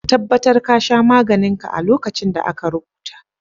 Ka tabatar ka sha maganin ka a lokacin da aka rubuta.